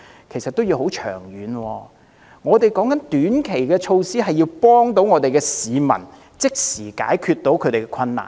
其實，我們所指的短期措施，是要協助市民即時解決困難。